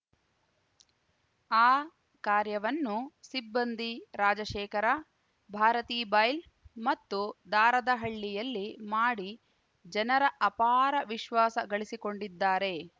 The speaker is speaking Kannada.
ಆ ಕಾರ್ಯವನ್ನು ಸಿಬ್ಬಂದಿ ರಾಜಶೇಖರ ಭಾರತೀಬೈಲ್‌ ಮತ್ತು ದಾರದಹಳ್ಳಿಯಲ್ಲಿ ಮಾಡಿ ಜನರ ಅಪಾರ ವಿಶ್ವಾಸ ಗಳಿಸಿಕೊಂಡಿದ್ದಾರೆ